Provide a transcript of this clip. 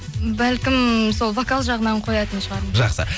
бәлкім сол вокал жағынан қоятын шығармын жақсы